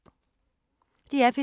DR P3